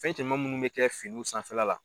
Fɛn cɛman munnu be kɛ finiw sanfɛla la